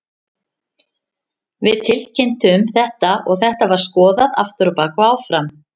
Við tilkynntum þetta og þetta var skoðað aftur á bak og áfram.